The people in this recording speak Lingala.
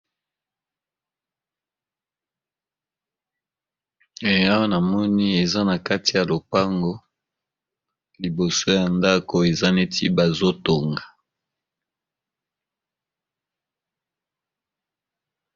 Awa namoni eza na kati ya lopango , liboso ya ndaku songolo eza lokola bazo Tonga nanu ndaku yango